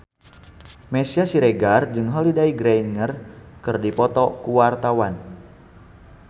Meisya Siregar jeung Holliday Grainger keur dipoto ku wartawan